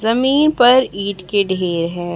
जमीन पर ईंट के ढेर हैं।